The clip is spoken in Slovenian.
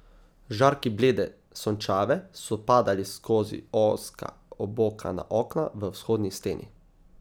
Žarki blede sončave so padali skozi ozka obokana okna v vzhodni steni.